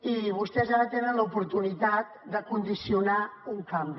i vostès ara tenen l’oportunitat de condicionar un canvi